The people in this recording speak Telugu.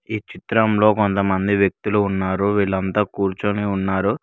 ఈ చిత్రంలో కొంతమంది వ్యక్తులు ఉన్నారు వీళ్లంతా కూర్చొని ఉన్నారు.